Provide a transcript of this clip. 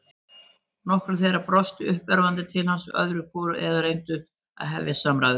Nokkrir þeirra brostu uppörvandi til hans öðru hvoru eða reyndu að hefja samræður.